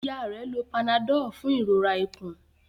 Ìyá rẹ ló Panadol fún ìrora ikùn.